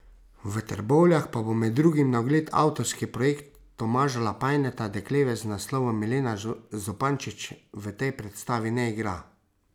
V Trbovljah pa bo med drugim na ogled avtorski projekt Tomaža Lapajneta Dekleve z naslovom Milena Zupančič v tej predstavi ne igra.